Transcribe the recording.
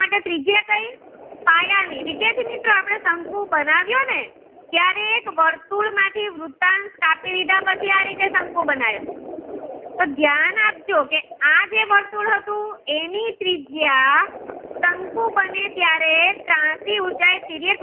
એક વર્તુળ માંથી વૃતાંસ કાપી લીધા પછી શંકુ બનાવ્યો કે ધ્યાન આપજો આજે વર્તુળ હતું એની ત્રિજ્યા શંકુ બને ત્યારે ત્રાસી બને